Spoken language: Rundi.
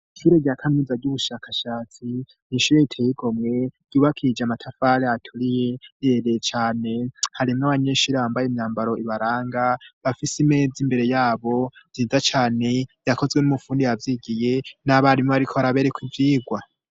Ikire rya kanuza ry'ubushakashatsi ntishuro iteyigo mwe yubakije amatafare aturiye irereye cane harimwo abanyenshi ribambaye imyambaro ibaranga bafise imeza imbere yabo ziza cane yakozwe n'umupfundi yavyigiye n'abarimo, ariko arabereko vyirwa.